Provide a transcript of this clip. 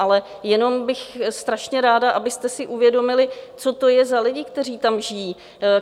Ale jenom bych strašně ráda, abyste si uvědomili, co to je za lidi, kteří tam žijí.